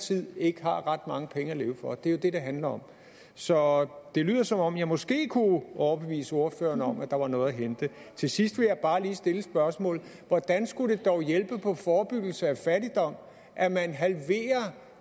tid ikke har ret mange penge at leve for det er jo det det handler om så det lyder som om jeg måske kunne overbevise ordføreren om at der var noget at hente til sidst vil jeg bare lige stille spørgsmålet hvordan skulle det dog hjælpe på forebyggelse af fattigdom at man halverer